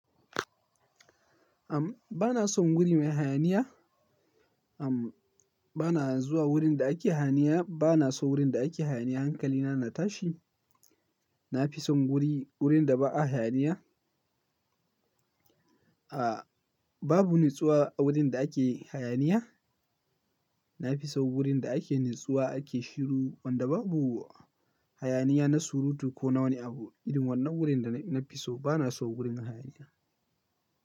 Am, bana son wuri mai hayaniya. Am, bana zuwa wurin da ake hayaniya, bana so wurin da ake hayaniya. Hankali na, na tashi. Na fi son guri, wurin da ba a hayaniya. A, babu natsuwa a wurin da ake hayaniya. Na fi so wurin da ake natsuwa, ake shiru, wanda babu hayaniya na surutu ko na wani abu. Irin wannan wurin da na fi so. Bana so wurin hayaniya.